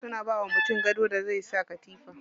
Suna bawa mutum gadon da zai saka katifa.